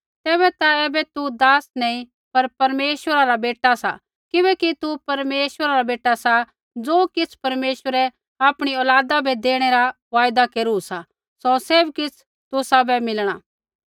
तेबैता ऐबै तू दास नैंई पर परमेश्वरा रा बेटा सा किबैकि तू परमेश्वरा रा बेटा सा ज़ो किछ़ परमेश्वरै आपणी औलादा बै देणै रा वायदा केरू सा सौ सैभ किछ़ तुसाबै मिलणा